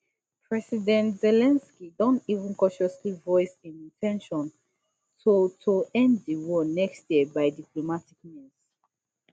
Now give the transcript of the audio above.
president zelensky don even cautiously voice im in ten tion to to end di war next year by diplomatic means